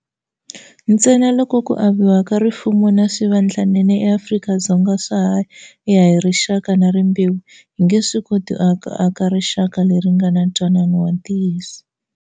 Ntsena loko ku aviwa ka rifumo na swivandlanene eAfrika-Dzonga swa ha ya hi rixaka na rimbewu, hi nge swi koti ku aka rixaka leri nga na ntwanano wa ntiyiso.